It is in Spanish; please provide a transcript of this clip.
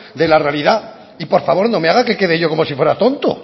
de la realidad y por favor no me haga que quede yo como si fuera tonto